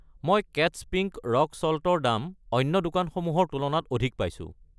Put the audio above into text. মই কেট্ছ pink rock salt ৰ দাম অন্য দোকানসমূহৰ তুলনাত অধিক পাইছোঁ।